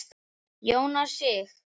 Jónas Sig.